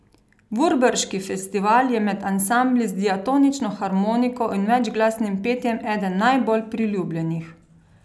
Vurberški festival je med ansambli z diatonično harmoniko in večglasnim petjem eden najbolj priljubljenih.